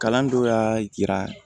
Kalan dɔ y'a yira